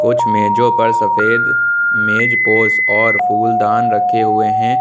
कुछ मेजों पर सफेद मेजपोश और फूलदान रखे हुए हैं।